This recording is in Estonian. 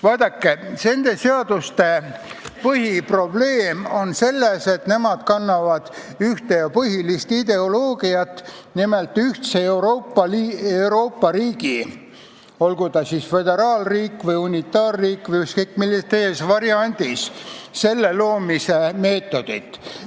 Vaadake, nende seaduste põhiprobleem on selles, et nad kannavad ühte põhilist ideoloogiat, nimelt Euroopa ühisriigi, olgu ta siis föderaalriik, unitaarriik või ükskõik milline teine variant, loomise meetodit.